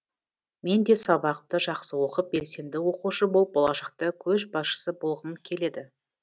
мен де сабақты жақсы оқып белсенді оқушы болып болашақта көшбасшы болғым келеді